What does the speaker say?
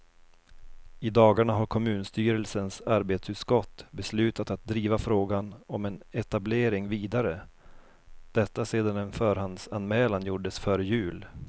I dagarna har kommunstyrelsens arbetsutskott beslutat att driva frågan om en etablering vidare, detta sedan en förhandsanmälan gjordes före jul.